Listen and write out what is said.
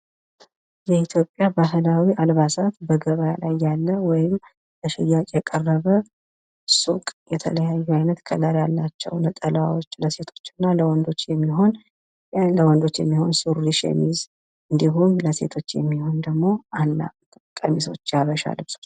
የኢትዮጵያ ባህላዊ አልባሳትን በገበያ ላይ የሚያሳይ ምስል ሲሆን የተለይየ ቀለም ያላቸው ለወንድና ለሴት የሚሆኑ ሸሚዞች እና ሱሪዎች ለሽያጭ ቀርበው ይታያሉ።